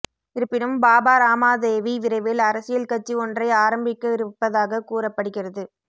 இருப்பினும் பாபா ராமாதேவி விரைவில் அரசியல் கட்சி ஒன்றை ஆரம்பிக்கவிருப்பதாக கூறப்படுகிறது